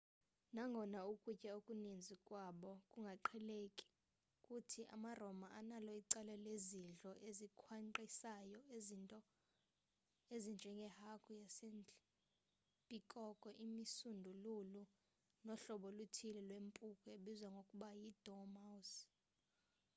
nangona ukutya okuninzi kwabo kungaqheleka kuthi amaroma analo icala lezidlo ezikhwankqisayo izinto ezinjenge hagu yasendle pikoko imisundululu nohlobo oluthile lwempuku ebizwa ngokuba yi dormouse